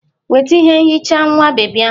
Weta ihe nhicha nwa bebi ahụ!